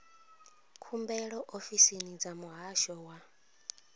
khumbelo ofisini dza muhasho wa